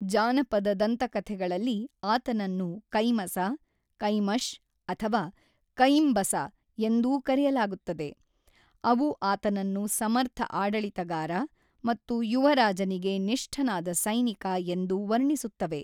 ಜಾನಪದ ದಂತಕಥೆಗಳಲ್ಲಿ ಆತನನ್ನು ಕೈಮಸ, ಕೈಮಶ್ ಅಥವಾ ಕೈಂಬಸ ಎಂದೂ ಕರೆಯಲಾಗುತ್ತದೆ, ಅವು ಆತನನ್ನು ಸಮರ್ಥ ಆಡಳಿತಗಾರ ಮತ್ತು ಯುವ ರಾಜನಿಗೆ ನಿಷ್ಠನಾದ ಸೈನಿಕ ಎಂದು ವರ್ಣಿಸುತ್ತವೆ.